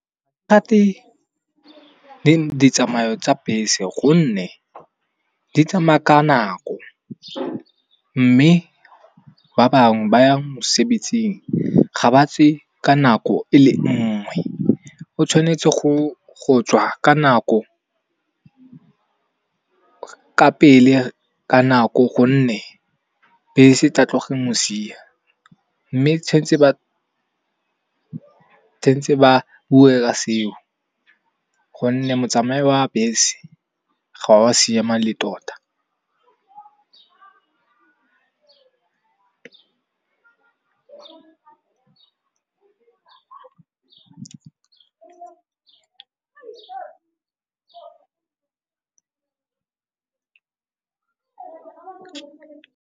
Ditsamayo tsa bese gonne di tsamaya ka nako, mme ba bangwe ba yang mosebetsing ga ba tse ka nako ele nngwe. O tshwanetse go tswa ka nako gonne bese e tla tloga e mo sia. Mme tshwanetse ba bue ka seo gonne motsamao wa bese ga wa siama le tota .